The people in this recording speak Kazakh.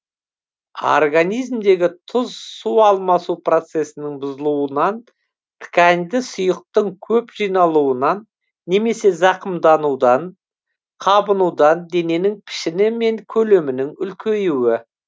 организмдегі тұз су алмасу процесінің бұзылуынан тканьде сұйықтың көп жиналуынан немесе зақымданудан қабынудан дененің пішіні мен көлемінің үлкеюі